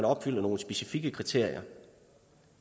opfyldes nogle specifikke kriterier